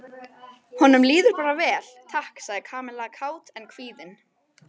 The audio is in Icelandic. Honum líður bara vel, takk sagði Kamilla kát en kvíðin.